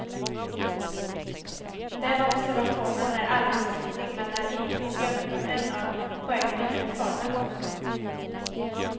Den observationen är alldeles riktig men är inget problem utan en av poängerna med reformen. punkt